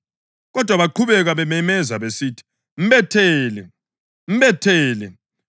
Kodwa baqhubeka bememeza besithi, “Mbethele! Mbethele!”